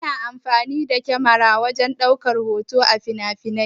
Ana amfani da kyamara wajen ɗaukan hoto a finafinai.